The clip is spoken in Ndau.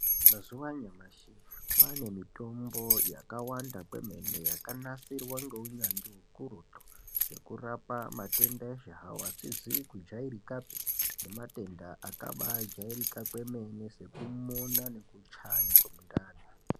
Mazuva anyamashi kwaanemitombo yakawanda kwemene yakanasirwa ngeunyanzvi hukurutu yekurapa matenda eshe hawo, asizi kujairikapi nematenda akabaajarika kwemene sekumona nekuchaya kwemundani.